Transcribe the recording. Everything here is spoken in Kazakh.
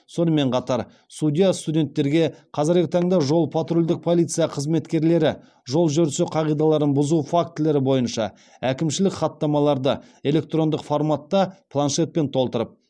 сонымен қатар судья студенттерге қазіргі таңда жол патрульдік полиция қызметкерлері жол жүрісі қағидаларын бұзу фактілері бойынша әкімшілік хаттамаларды электрондық форматта планшетпен толтырып